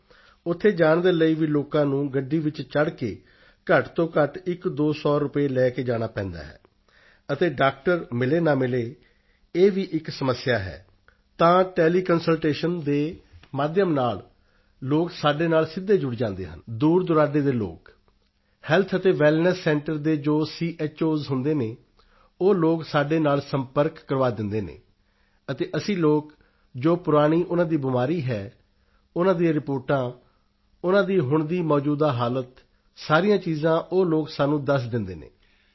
ਹੈ ਉੱਥੇ ਜਾਣ ਦੇ ਲਈ ਵੀ ਲੋਕਾਂ ਨੂੰ ਗੱਡੀ ਵਿੱਚ ਚੜ੍ਹ ਕੇ ਘੱਟ ਤੋਂ ਘੱਟ ਇੱਕਦੋ ਸੌ ਰੁਪਏ ਲੈ ਕੇ ਜਾਣਾ ਪੈਂਦਾ ਹੈ ਅਤੇ ਡਾਕਟਰ ਮਿਲੇ ਨਾ ਮਿਲੇ ਇਹ ਵੀ ਇੱਕ ਸਮੱਸਿਆ ਹੈ ਤਾਂ ਟੈਲੀਕੰਸਲਟੇਸ਼ਨ ਦੇ ਮਾਧਿਅਮ ਨਾਲ ਲੋਕ ਸਾਡੇ ਨਾਲ ਸਿੱਧੇ ਜੁੜ ਜਾਂਦੇ ਹਨ ਦੂਰਦੁਰਾਡੇ ਦੇ ਲੋਕ ਹੈਲਥ ਅਤੇ ਵੈੱਲਨੈੱਸ ਸੈਂਟਰ ਦੇ ਜੋ ਚੋਸ ਹੁੰਦੇ ਹਨ ਉਹ ਲੋਕ ਸਾਡੇ ਨਾਲ ਸੰਪਰਕ ਕਰਵਾ ਦਿੰਦੇ ਹਨ ਅਤੇ ਅਸੀਂ ਲੋਕ ਜੋ ਪੁਰਾਣੀ ਉਨ੍ਹਾਂ ਦੀ ਬਿਮਾਰੀ ਹੈ ਉਨ੍ਹਾਂ ਦੀ ਰਿਪੋਰਟਾਂਉਨ੍ਹਾਂ ਦੀ ਹੁਣ ਦੀ ਮੌਜੂਦਾ ਹਾਲਤ ਸਾਰੀਆਂ ਚੀਜ਼ਾਂ ਉਹ ਲੋਕ ਸਾਨੂੰ ਦੱਸ ਦਿੰਦੇ ਹਨ